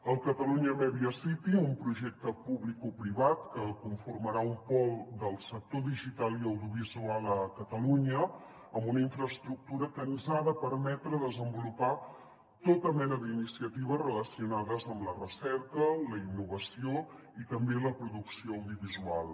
el catalunya media city un projecte publicoprivat que conformarà un pol del sector digital i audiovisual a catalunya amb una infraestructura que ens ha de per·metre desenvolupar tota mena d’iniciatives relacionades amb la recerca la innova·ció i també la producció audiovisual